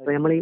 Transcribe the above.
ഇപ്പൊ ഞമ്മള്